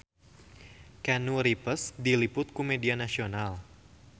Keanu Reeves diliput ku media nasional